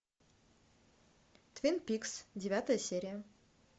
твин пикс девятая серия